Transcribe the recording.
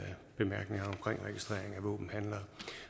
våbenhandlere